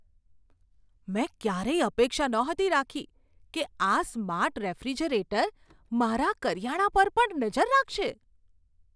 મેં ક્યારેય અપેક્ષા નહોતી રાખી કે આ સ્માર્ટ રેફ્રિજરેટર મારા કરિયાણા પર પણ નજર રાખશે.